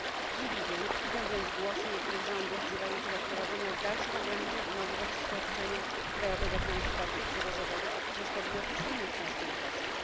Dziwią więc głosy niektórych rządów wzywających do wprowadzenia dalszych ograniczeń i możliwości świadczenia krajowego transportu przewozowego przez podmioty z innych państw członkowskich.